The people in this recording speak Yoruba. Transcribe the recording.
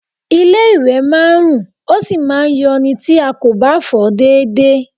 Ilé-ìwẹ̀ máa ń rùn, ó sì máa ń yọ̀ ni tí a kò bá fọ̀ ọ́ déédéé